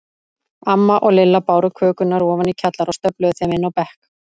Amma og Lilla báru kökurnar ofan í kjallara og stöfluðu þeim inn á bekk.